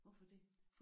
Hvorfor det?